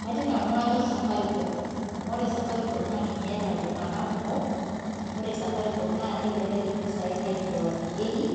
kaajoo nanu kanyoor safaricom amu kajoo ninyeee eyata iltunganak kumoo ore safaricom naaa kelek impisai nairiwakinyekii